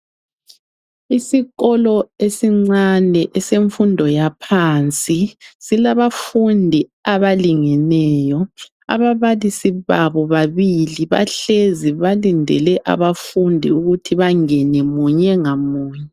Isikolo esincane esemfundo yaphansi silabafundi abalingeneyo ababalisi babo babili bahlezi balindele abafundi ukuthi bangene munye ngamunye.